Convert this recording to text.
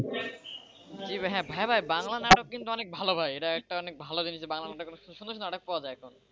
হ্যাঁ ভাই ভাই বাংলা নাটক কিন্তু অনেক ভালো ভাই এটা অনেক ভালো জিনিস যে বাংলার মধ্যে সুন্দর সুন্দর নাটক পাওয়া যায় এখন,